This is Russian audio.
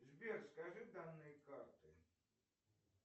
сбер скажи данные карты